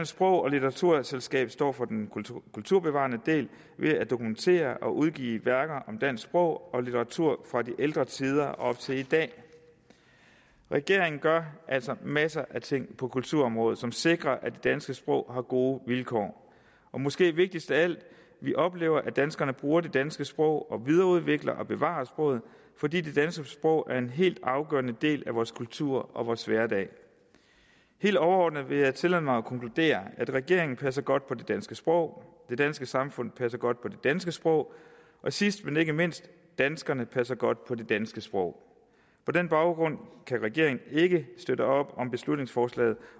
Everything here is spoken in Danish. sprog og litteraturselskab står for den kulturbevarende del ved at dokumentere og udgive værker om dansk sprog og litteratur fra de ældre tider op til i dag regeringen gør altså masser af ting på kulturområdet som sikrer at det danske sprog har gode vilkår og måske vigtigst af alt vi oplever at danskerne bruger det danske sprog og videreudvikler og bevarer sproget fordi det danske sprog er en helt afgørende del af vores kultur og vores hverdag helt overordnet vil jeg tillade mig at konkludere at regeringen passer godt på det danske sprog det danske samfund passer godt på det danske sprog og sidst men ikke mindst danskerne passer godt på det danske sprog på den baggrund kan regeringen ikke støtte op om beslutningsforslaget